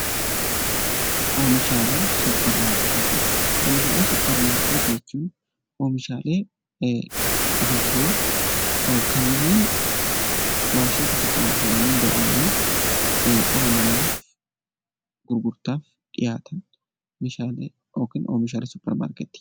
Oomishalee supper maarkettii, oomishaalee supper maarkettii jechuun oomishaalee dhumatoo kanneen waarshaatti oomishamanii bahanii dhala namaaf gurgurtaaf dhiyaatan oomishaalee yookiin oomishaalee supper maarkettii.